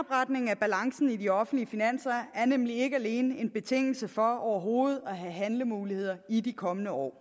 af balancen i de offentlige finanser er nemlig ikke alene en betingelse for overhovedet at have handlemuligheder i de kommende år